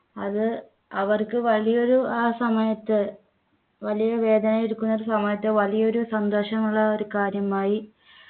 അത് അവർക്ക് വലിയൊരു ആ സമയത്ത് വലിയ വേദനയെടുക്കുന്ന സമയത്ത് വലിയൊരു സന്തോഷം ഉള്ള ഒരു കാര്യമായി